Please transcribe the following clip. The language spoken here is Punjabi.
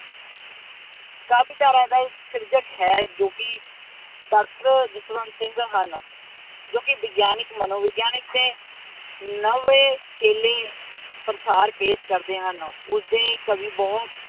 ਵਿਚਾਰਾਂ ਦਾ ਇੱਕ ਸਿਰਜਕ ਹੈ ਜੋ ਕੀ ਡਾਕਟਰ ਜਸਵੰਤ ਸਿੰਘ ਹਨ। ਜੋ ਕੀ ਵਿਗਿਆਨਕ, ਮਨੋਵਿਗਿਆਨਕ ਤੇ ਨਵੇ ਕੇਲੇ ਪ੍ਰਸਾਰ ਕੇ ਕਰਦੇ ਹਨ। ਉਸਦੇ ਕਵੀ ਬਹੁਤ